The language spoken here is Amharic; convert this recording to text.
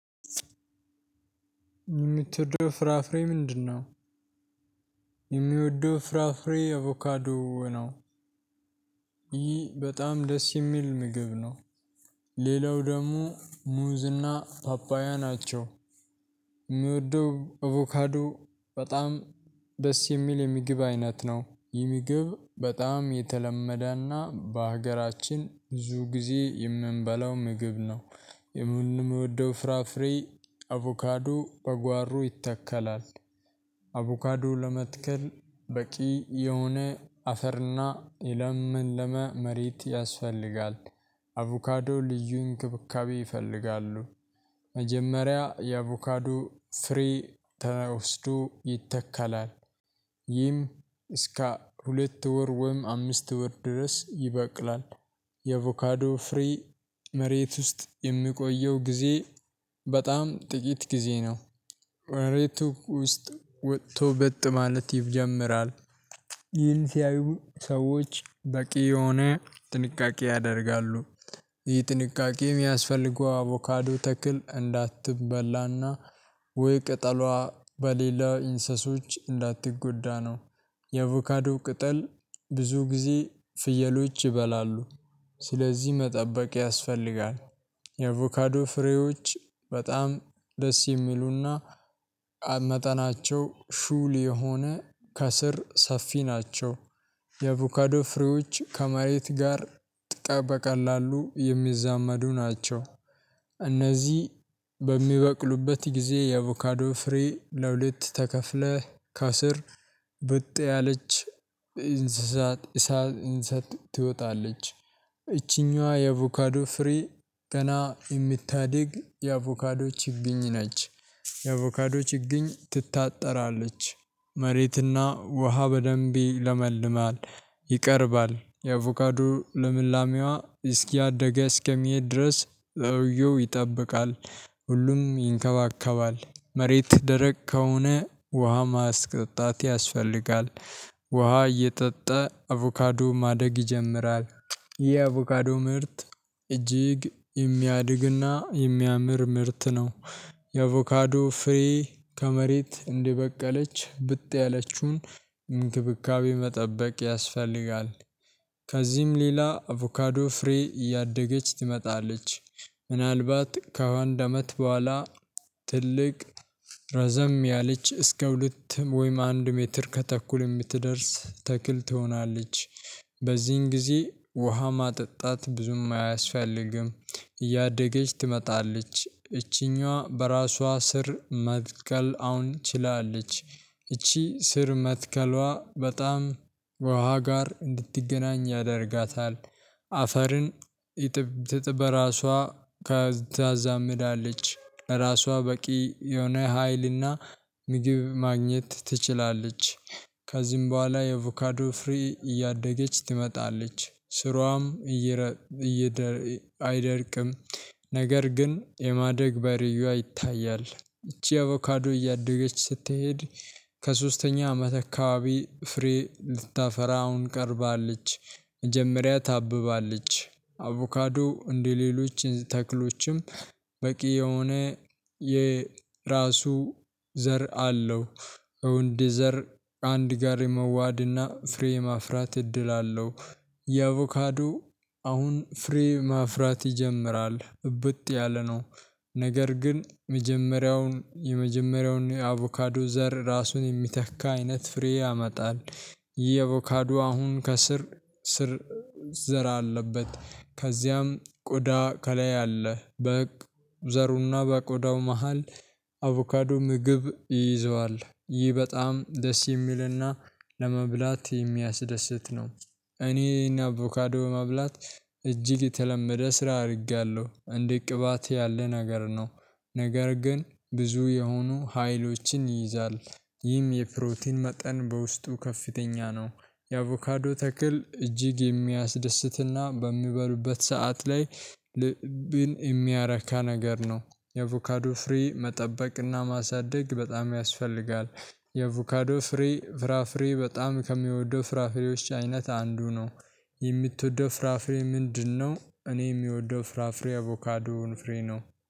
የምትወደው ፍራፍሬ ምንድነው? የሚወደው ፍራፍሬ አቮካዶ ነው፤ ይህ በጣም ደስ የሚል ምግብ ነው። ሌላው ደሙ ሙዝና ጳጳያ ናቸው። የምወደው አቮካዶ በጣም ደስ የሚል የሚግብ አይነት ነው። እሄ ሚግብ በጣም የተለመደና በሀገራችን ብዙ ጊዜ የምንበላው ምግብ ነው። የምንወደው ፍራፍሬ አቮካዶ በጓሮ ይተከላል። አቮካዶ ለመትከል በቂ የሆነ አፈርና የለመለመ መሬት ያስፈልጋል። አቮካዶ ልዩ እንክብካቤ ይፈልጋሉ። መጀመሪያ የአቮካዶ ፍሬ ተወስዶ ይተካላል፤ ይህም እስከ ሁለት ወር ወይም አምስት ወር ድረስ ይበቅላል፤ የቮካዶ ፍሬ መሬት ውስጥ የሚቆየው ጊዜ በጣም ጥቂት ጊዜ ነው። ከመሬቱ ውስጥ ወጥቶ እብጥ ማለት ይጀምራል። ይል ሲያዩ ሰዎች በቂ የሆነ ጥንቃቄ ያደርጋሉ። ይህ ጥንቃቄ የሚያስፈልገው አቮካዶ ተክል እንዳትበላና ውይ ቅጠሏ በሌላ ኢንሰሶች እንዳትጎዳ ነው። የቮካዶ ቅጠል ብዙ ጊዜ ፍየሎች ይበላሉ። ስለዚህ መጠበቅ ያስፈልጋል፤ የቮካዶ ፍሬዎች በጣም ደስ የሚሉና መጠናቸው ሹል የሆነ ከስር ሰፊ ናቸው። የቮካዶ ፍሬዎች ከመሬት ጋር ጥቃት በቀላሉ የሚዛመዱ ናቸው። እነዚህ በሚበቅሉበት ጊዜ የቮካዶ ፍሬ ለሁለት ተከፍለህ ከስር ብጥ ያለች እንስሳት እሳት እንስሳት ትወጣለች። እቺኛዋ የአቮካዶ ፍሬ ገና የምታድግ የአቮካዶ ችግኝ ነች። የአቮካዶች ይግኝ ትታጠራለች መሬትና ውሃ በደንቢ ያለመልማል ይቀርባል የአቮካዶ ለምላሜዋ እስኪያደግ እስከሚሄድ ድረስ ሰውየው ይጠብቃል። ሁሉም ይንከባከባል መሬት ደረቅ ከሆነ ውሃ ማስጠጣት ያስፈልጋል። ውሃ እየጠጠ አቮካዱ ማደግ ይጀምራል የአቮካዶ ምርት እጅግ የሚያድግና የሚያምር ምርት ነው። የአቮካዶ ፍሬ ከመሬት እንዲበቀለች ብጥ ያለችውን እንክብካቤ መጠበቅ ያስፈልጋል። ከዚህም ሌላ አቮካዶ ፍሬ እያደገች ትመጣለች። ከዋንድ አመት በኋላ ትልቅ ረዘም ያለች እስከ ሁለትም ወይም አንድ ሜትር ከተኩል የምትደርስ ተክል ትሆናለች። በዚህን ጊዜ ውሃ ማጠጣት ብዙም አያስፈልግም፤ እያደገች ትመጣለች እቺኛዋ በራሷ ስር መትከል አሁን ችላለች። እቺ ስር መትከሏ በጣም ውሃ ጋር እንድትገናኝ ያደርጋታል። አፈርን ይጥብጥብ በራሷ ከታዛምዳለች ራሷ በቂ የሆነ ሀይልና ምግብ ማግኘት ትችላለች። ከዚህም በኋላ የቮካዶ ፍሪ እያደገች ትመጣለች ስሯም እየረ እየደር አይደርቅም። ነገር ግን የማደግ በህርዮዎ ይታያል እቺ አቮካዶ እያደገች ስትሄድ ከሶስተኛ አመት አካባቢ ፍሬ ልታፈራ አሁን ቀርባለች መጀመሪያ ታብባለች። አቮካዶ እንደሌሎች ተክሎችም በቂ የሆነ የራሱ ዘር አለው ወንድ ደዘር አንድ ጋር የመሃድና ፍሬ የማፍራት እድል አለው። የቮካዱ አሁን ፍሬ ማፍራት ይጀምራል ብጥ ያለ ነው ነገር ግን የመጀመሪያውን የመጀመሪያውን የአቮካዱ ዘር ራሱን የሚተካ አይነት ፍሬ ያመጣል። የአቮካዶ አሁን ከስር ስር ዘራ አለበት ከዚያም ቆዳ ከላይ አለ፤ በህግ ዘሩና በቆዳው መሃል አቮካዶ ምግብ ይይዘዋል ይህ በጣም ደስ የሚልና ለመብላት የሚያስደስት ነው። እኔና አቮካዶ መብላት እጅግ የተለመደ ስራ አድርጋለሁ እንዴት ቅባት ያለ ነገር ነው ነገር ግን ብዙ የሆኑ ሀይሎችን ይይዛል። ይህም የፕሮቲን መጠን በውስጡ ከፍተኛ ነው። የአቮካዶ ተክል እጅግ የሚያስደስትና በሚበሉበት ሰዓት ላይ ልብን የሚያረካ ነገር ነው የቮካዶ ፍሬ መጠበቅና ማሳደግ በጣም ያስፈልጋል። የቮካዶ ፍሬ ፍራፍሬ በጣም ከሚወደው ፍራፍሬዎች አይነት አንዱ ነው። የምትወደው ፍራፍሬ ምንድነው? እኔ የሚወደው ፍራፍሬ አቮካዶን ፍሬ ነው።